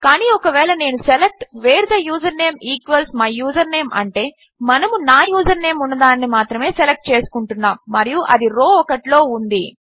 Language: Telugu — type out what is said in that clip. కాని ఒకవేళ నేను select where the username equals my username అంటే మనము నా యూజర్నేమ్ ఉన్న దానిని మాత్రమే సెలెక్ట్ చేసుకుంటున్నాము మరియు అది రో 1లో ఉంది